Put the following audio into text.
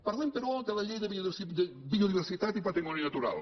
parlem però de la llei de biodiversitat i patrimoni natural